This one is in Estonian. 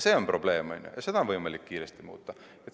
See on probleem ja seda on võimalik kiiresti muuta.